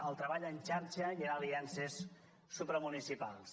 al treball en xarxa i amb aliances supramunicipals